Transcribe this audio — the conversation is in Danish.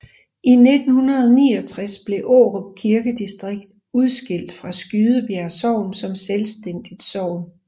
I 1969 blev Årup Kirkedistrikt udskilt fra Skydebjerg Sogn som selvstændigt sogn